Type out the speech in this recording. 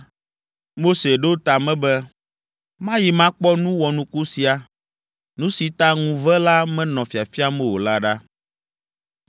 Mose ɖo ta me be, “Mayi makpɔ nu wɔnuku sia, nu si ta ŋuve la menɔ fiafiam o la ɖa.”